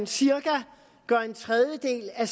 cirka en tredjedel af